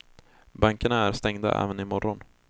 Bankerna är stängda även i morgon.